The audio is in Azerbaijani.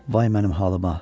Vay mənim halıma.